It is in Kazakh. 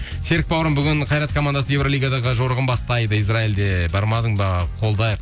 серік бауырым бүгін қайрат командасы евролигаға жорыңғын бастайды израилде бармадың ба қолдайық